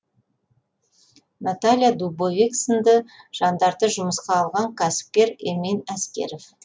наталья дубовик сынды жандарды жұмысқа алған кәсіпкер эмин әскеров